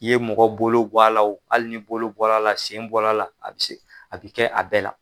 I ye mɔgɔ bolo bɔ a la hali ni bolo bɔra a la, sen bɔra a la, a bi se, a bi kɛ a bɛɛ la.